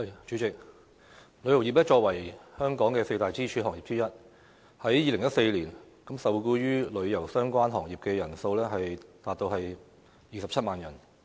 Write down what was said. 主席，旅遊業作為香港四大支柱行業之一，在2014年，受僱與旅遊相關行業的人數達到27萬人。